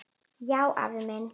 Já, afi minn.